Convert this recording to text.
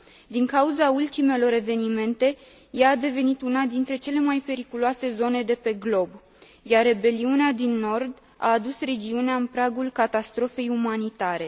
Din cauza ultimelor evenimente, ea a devenit una dintre cele mai periculoase zone de pe glob, iar rebeliunea din Nord a adus regiunea în pragul catastrofei umanitare.